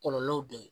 Kɔlɔlɔw de ye